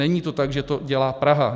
Není to tak, že to dělá Praha.